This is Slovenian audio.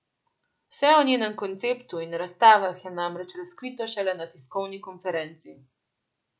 Vse o njenem konceptu in razstavah je namreč razkrito šele na tiskovni konferenci.